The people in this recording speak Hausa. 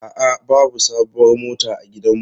A'a, babu sabuwar mota a gidanmu.